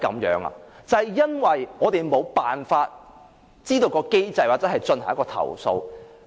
因為我們無法知道相關機制或進行投訴。